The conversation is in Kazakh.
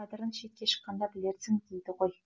қадірін шетке шыққанда білерсің дейді ғой